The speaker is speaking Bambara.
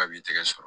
K'a b'i tɛgɛ sɔrɔ